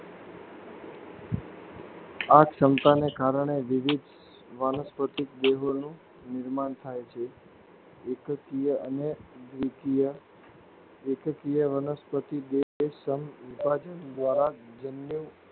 આ સક્ષમતાને કારણે વિવિધ વનસ્પતિ જેઓનું નિર્માણ થાય છે. એકકીય અને દ્વિકીય એકકીય વનસ્પતિ જે સંવિભાજ્ન દ્વારા જન્યુઓ